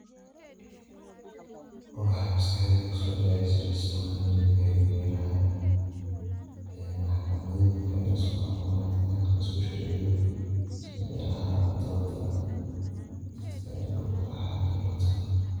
Waxa maskaxdeyda kusodaceyso dismahan inuyahay melaha ee maxakamadoyiinka ee laiskuxukumo, laiskusharciyo sida melaha dooda dadka inlagukalaxaliyo lotago.